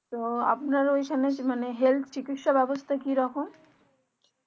তো আপনার ওখানে মানে health চিকিৎসা ব্যাবস্থা কি রকম